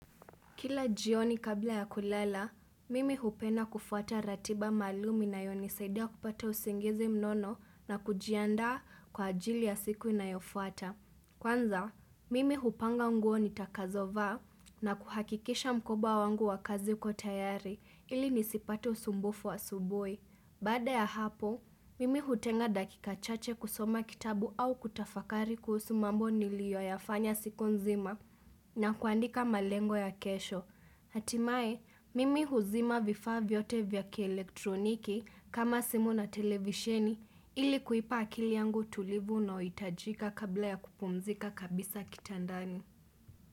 Kila jioni kabla ya kulala, mimi hupenda kufuata ratiba maalumu inayonisaidia kupata usingizi mnono na kujiandaa kwa ajili ya siku inayofuata. Kwanza, mimi hupanga nguo nitakazovaa na kuhakikisha mkoba wangu wa kazi uko tayari ili nisipate usumbufu wa asubuhi. Bada ya hapo, mimi hutenga dakika chache kusoma kitabu au kutafakari kuhusu mambo niliyoyafanya siku nzima na kuandika malengo ya kesho. Hatimaye, mimi huzima vifaa vyote vya kielektroniki kama simu na televisheni ili kuipa akili yangu utulivu unaohitajika kabla ya kupumzika kabisa kitandani.